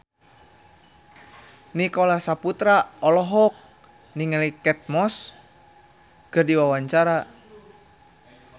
Nicholas Saputra olohok ningali Kate Moss keur diwawancara